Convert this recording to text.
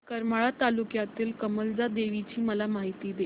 करमाळा तालुक्यातील कमलजा देवीची मला माहिती दे